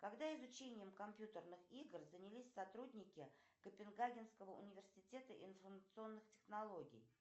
когда изучением компьютерных игр занялись сотрудники копенгагенского университета информационных технологий